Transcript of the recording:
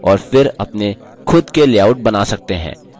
slide में layout लागू करें